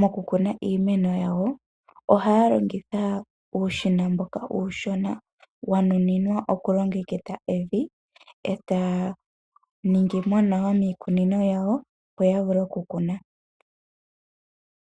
mokukuna iimeno yawo, ohaya longitha uushina mboka uushona wanuninwa oku longekidha evi. Ohaya ningimo nawa miikunino yawo, opo ya vule okukuna.